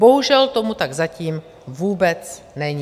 Bohužel tomu tak zatím vůbec není.